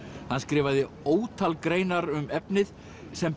hann skrifaði ótal greinar um efnið sem